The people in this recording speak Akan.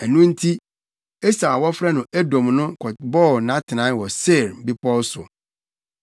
Ɛno nti, Esau a wɔfrɛ no Edom no, kɔbɔɔ nʼatenae wɔ Seir bepɔw so.